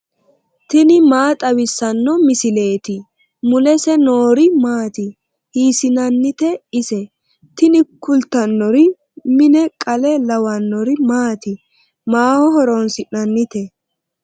tini maa xawissanno misileeti ? mulese noori maati ? hiissinannite ise ? tini kultannori mine qale lawannori maati? maaho horoonsi'nannite ?